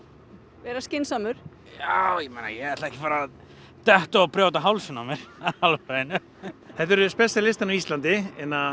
vera skynsamur já ég ætla ekki að detta og brjóta hálsinn á mér þetta eru Specialisterne á Íslandi